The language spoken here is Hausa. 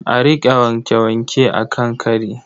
A riƙa wanke-wanke a kan kari.